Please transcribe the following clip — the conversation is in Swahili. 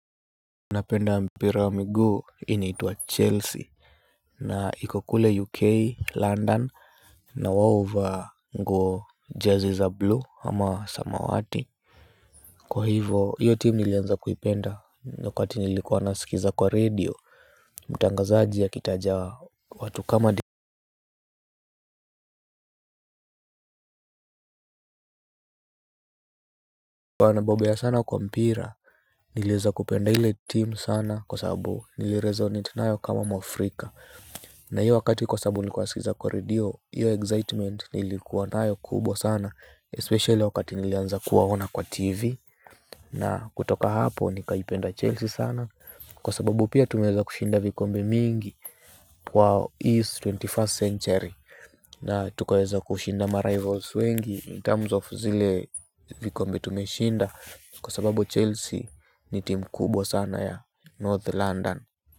Napenda mpira wa miguu inaitwa chelsea. Na iko kule uk London. Na wa uvaa nguo jazi za blue ama samawati. Kwa hivo hiyo team nilianza kuipenda nyakati nilikuwa naskiza kwa radio. Mtangazaji akitaja watu kama di huwa nabobea sana kwa mpira nilieza kupenda ile team sana kwa sababu nilireasonate nayo kama mwafrika. Na hiyo wakati kwa sababu nilikuwa nawaskiliza kwa radio. Hiyo excitement nilikuwa nayo kubwa sana Especially wakati nilianza kuwaona kwa TV. Na kutoka hapo nikaipenda Chelsea sana. Kwa sababu pia tumeeza kushinda vikombe mingi. Kwa East 21st century na tukaeza kushinda marivals wengi In terms of zile vikombe tumeshinda. Kwa sababu Chelsea ni team kubwa sana ya North London.